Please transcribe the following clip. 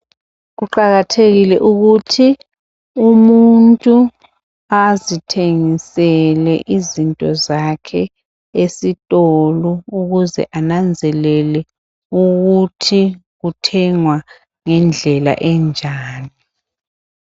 Kuqakathekile ukuthi umuntu azithengele izinto zakhe esitolo ukuze ananzelele ukuthi kuthengwa ngendlela enjani.